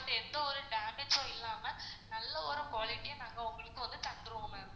எந்த ஒரு damage ம் இல்லாம நல்ல ஒரு quality யா நாங்க உங்ககிட்ட வந்து தந்துருவோம் ma'am